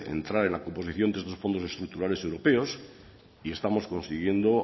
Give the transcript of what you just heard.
entrar en la composición de esos fondos estructurales europeos y estamos consiguiendo